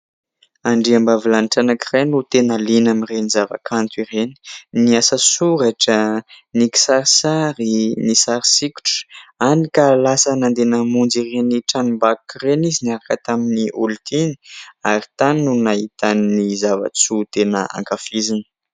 Andriambavilanitra anankiray no tena liana amin'ireny zava-kanto ireny : ny asasoratra, ny kisarisary, ny sary sokitra ; hany ka lasa nandeha namonjy ireny tranom-bakoka ireny izy niaraka tamin'ny olontiany ary tany no nahitany ny zavatsoa tena ankafiziny.